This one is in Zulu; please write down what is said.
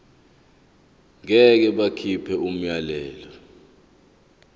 ngeke bakhipha umyalelo